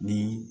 Ni